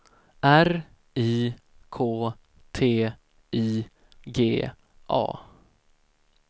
R I K T I G A